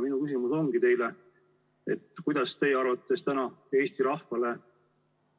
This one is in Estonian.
Minu küsimus ongi teile: kuidas teie arvates täna Eesti rahvale